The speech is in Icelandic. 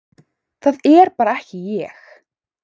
Það er bara ekki ég,